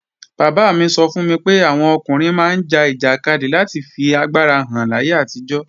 Bàbá mi sọ fún mi pé àwọn ọkùnrin máa ń ja ìjàkadì láti fi agbára hàn láyé àtijọ́